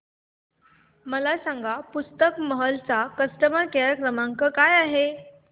मला सांगा पुस्तक महल चा कस्टमर केअर क्रमांक काय आहे